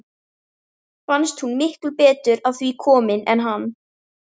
Fannst hún miklu betur að því komin en hann.